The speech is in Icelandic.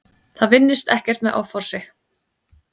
Það vinnist ekkert með offorsi.